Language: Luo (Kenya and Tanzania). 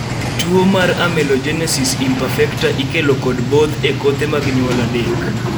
tuo mar Amelogenesis imperfecta ikelo kod both e kothe mag nyuol adek